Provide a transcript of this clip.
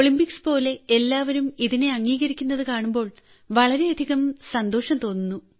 ഒളിംമ്പിക്സ്പോലെ എല്ലാവരും ഇതിനെ അംഗീകരിക്കുന്നത് കാണുമ്പോൾ വളരെയധികം സന്തോഷം തോന്നുന്നു